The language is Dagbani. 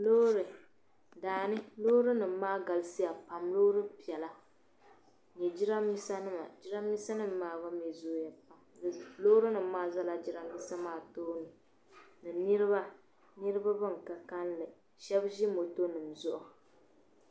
Loori daani loorinima maa galisiya pam loori piɛlla ni jiramiinsanim jiramiinsanim maa mi zooya pam loorinima maa zala jiramiinsa maa tooni ni niriba niriba ban ka kanli shab ʒi motonim zuɣu.